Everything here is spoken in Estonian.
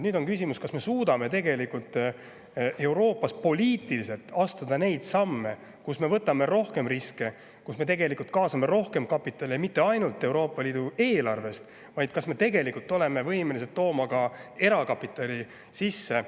Nüüd on küsimus, kas me suudame Euroopas poliitiliselt astuda samme, mille puhul me võtame rohkem riske, kaasame rohkem kapitali, ja mitte ainult Euroopa Liidu eelarvest – kas me oleme tegelikult võimelised tooma ka erakapitali sisse?